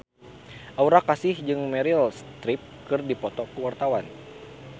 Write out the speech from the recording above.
Aura Kasih jeung Meryl Streep keur dipoto ku wartawan